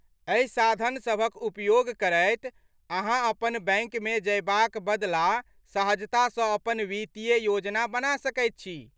एहि साधनसभक उपयोग करैत अहाँ अपन बैंकमे जयबाक बदला सहजतासँ अपन वित्तीय योजना बना सकैत छी।